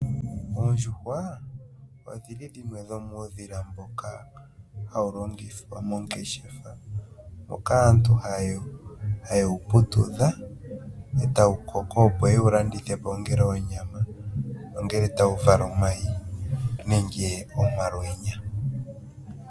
Oondjuhwa odhili dhimwe dhomuudhila mboka hawu longithwa mongeshefa moka aantu haye wu putudha, e tawu koko opo yewu landithwe po ongele onyama, ongele tawu vala omayi nenge omalwenya.